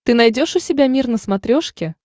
ты найдешь у себя мир на смотрешке